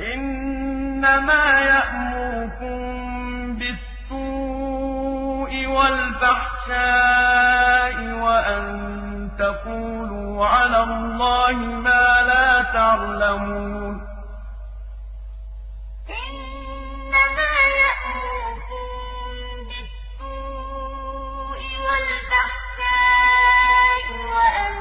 إِنَّمَا يَأْمُرُكُم بِالسُّوءِ وَالْفَحْشَاءِ وَأَن تَقُولُوا عَلَى اللَّهِ مَا لَا تَعْلَمُونَ إِنَّمَا يَأْمُرُكُم بِالسُّوءِ وَالْفَحْشَاءِ وَأَن